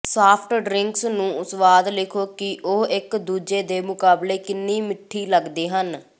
soft drinks ਨੂੰ ਸੁਆਦ ਲਿਖੋ ਕਿ ਉਹ ਇਕ ਦੂਜੇ ਦੇ ਮੁਕਾਬਲੇ ਕਿੰਨੀ ਮਿੱਠੀ ਲੱਗਦੇ ਹਨ